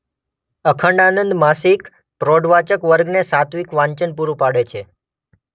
અખંડ આનંદ માસિક પ્રોઢવાચક વર્ગને સાત્વિક વાંચન પૂરું પાડે છે.